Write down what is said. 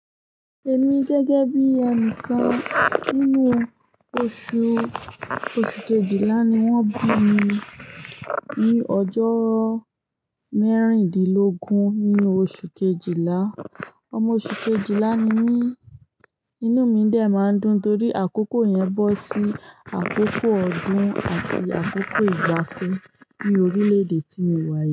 Èmi gẹ́gẹ́ bí ẹnìkan nínú oṣù, oṣù kejìlá ni wọ́n bí mi ní ọjọ́ mẹ́rìndínlógún nínú oṣù kejìlá. Ọmọ oṣù kejìlá ni mí, inú mi dè máa ń dùn torí àkókò yẹn bọ́ sí àkókò ọdún àti àkókò ìgbafẹ́ ní orílẹ̀ èdè tí mo wà.